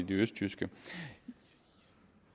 det østjyske